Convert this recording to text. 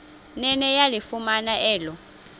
nene yalifumana elo